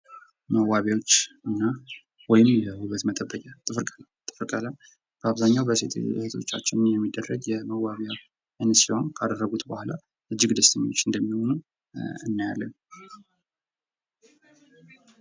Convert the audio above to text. መዋቢያዎችና ወይም የውበት መጠበቂያዎች ፡-ጥፍር ቀለም፡-ጥፍር ቀለም በአብዛኛው ሴት እህቶቻችን የሚደረግ የመዋቢያ አይነት ሲሆን ካደረጉት በሁአላ እጅግ ደስ የሚል እጅ እንደሚሆን እናያለን።